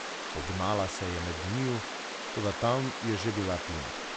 Pognala se je med njiju, toda tam je že bila Tina.